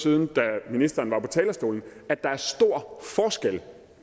siden da ministeren var på talerstolen at der er stor forskel